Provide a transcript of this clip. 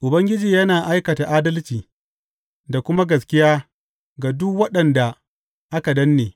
Ubangiji yana aikata adalci da kuma gaskiya ga duk waɗanda aka danne.